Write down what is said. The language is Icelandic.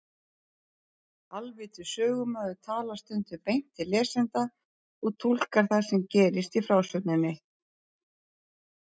Alvitur sögumaður talar stundum beint til lesenda og túlkar það sem gerist í frásögninni.